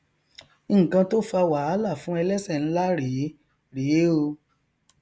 nnkan tó fa wàhálà fún ẹlẹsẹ nlá rèé rèé o